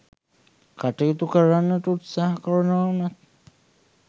කටයුතු කරන්නට උත්සාහ කරනවා වුණත්